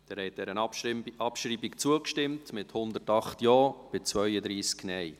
Sie haben der Abschreibung zugestimmt, mit 108 Ja- gegen 32 Nein-Stimmen.